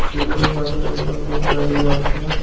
টেবিলের পাশে একজন লোক দাঁড়িয়ে আছে।